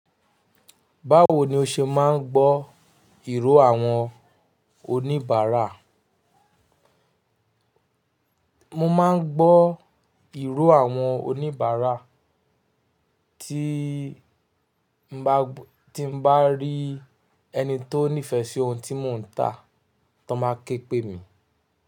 Báwo ni o ṣe máa ń gbọ́ ìró àwọn oníbàárà? Mo máa ń gbọ́ ìró àwọn oníbàárà tí n bá, tí n bá rí ẹni tó nífẹ̀ẹ́ sí ohun tí mò ń tà tọn ba ké pè mi.